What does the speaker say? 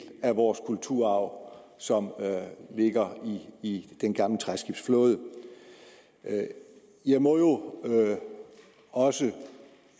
af vores kulturarv som ligger i den gamle træskibsflåde jeg må jo også